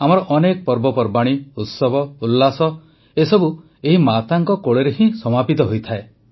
ଆମର ଅନେକ ପର୍ବପର୍ବାଣି ଉତ୍ସବ ଉଲ୍ଲାସ ଏସବୁ ଏହି ମାତାଙ୍କ କୋଳରେ ହିଁ ତ ସମାପିତ ହୋଇଥାଏ